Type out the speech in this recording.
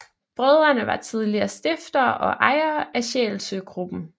Brødrene var tidligere stiftere og ejere af Sjælsø Gruppen